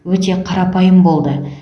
өте қарапайым болды